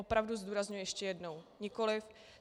Opravdu, zdůrazňuji ještě jednou, nikoliv.